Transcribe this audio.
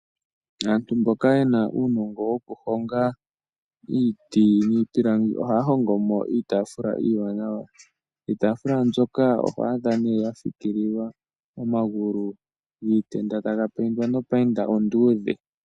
Aantu mboka yena uunongo wokuhonga iiti niipilangi ohaya hongomo iitaafula iiwanawa. Iitaafula mbyoka oho adha nee ya fikililwa omagulu giitenda taga payindwa nopayinda onduudhe.